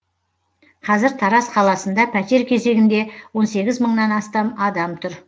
қазір тараз қаласында пәтер кезегінде он сегіз мыңнан астам адам тұр